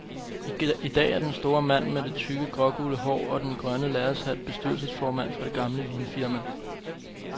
I dag er den store mand med det tykke, grågule hår og den grønne lærredshat bestyrelsesformand for det gamle vinfirma.